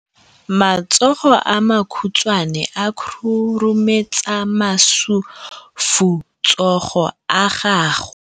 Matsogo a makhutshwane a khurumetsa masufutsogo a gago.